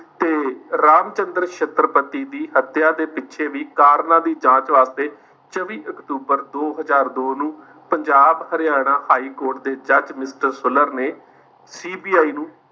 ਤੇ ਰਾਮ ਚੰਦਰ ਛਤਰਪਤੀ ਦੀ ਹੱਤਿਆ ਦੇ ਪਿੱਛੇ ਵੀ ਕਾਰਨਾਂ ਦੀ ਜਾਂਚ ਵਾਸਤੇ ਚੌਵੀ ਅਕਤੂਬਰ ਦੋ ਹਜ਼ਾਰ ਦੋ ਨੂੰ ਪੰਜਾਬ ਹਰਿਆਣਾ ਹਾਈਕੋਰਟ ਦੇ ਜੱਜ mister ਸੁਲਰ ਨੇ CBI ਨੂੰ